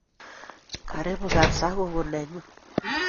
Karipu kapsa gogo nenyu